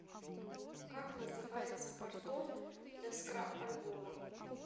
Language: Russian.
как называется картон для скрап альбома